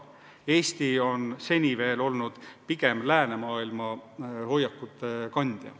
Eesti on seni veel olnud pigem läänemaailma hoiakute kandja.